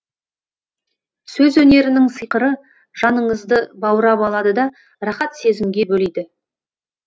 сөз өнерінің сиқыры жаныңызды баурап алады да рақат сезімге бөлейді